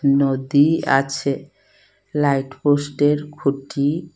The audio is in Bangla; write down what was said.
নদী আছে লাইট পোস্টের খুঁটি--